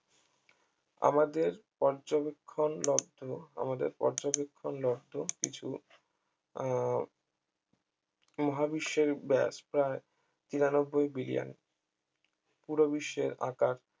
আমাদের পর্যবেক্ষন লব্ধ আমাদের পর্যবেক্ষন লব্ধ কিছু আহ মহাবিশ্বের ব্যাস প্রায় তিরানব্বই বিলিয়ন পুরো বিশ্বের আকার